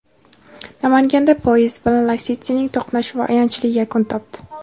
Namanganda poyezd bilan "Lasetti"ning to‘qnashuvi ayanchli yakun topdi.